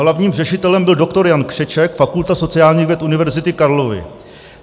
Hlavním řešitelem byl doktor Jan Křeček, Fakulta sociálních věd Univerzity Karlovy.